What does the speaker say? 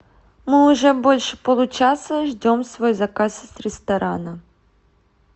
мы уже больше получаса ждем свой заказ из ресторана